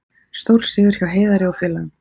Stórsigur hjá Heiðari og félögum